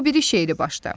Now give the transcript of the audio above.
O biri şeiri başla.